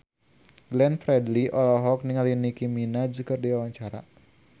Glenn Fredly olohok ningali Nicky Minaj keur diwawancara